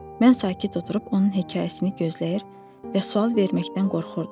Mən sakit oturub onun hekayəsini gözləyir və sual verməkdən qorxurdum.